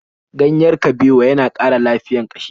Ganyen kabewa ya na ƙara lafiyar ƙashi.